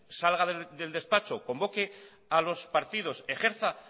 salga del despacho convoque a los partidos ejerza